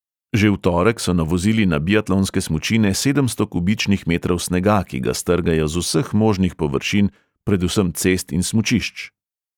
Že v torek so navozili na biatlonske smučine sedemsto kubičnih metrov snega, ki ga strgajo z vseh možnih površin, predvsem cest in smučišč.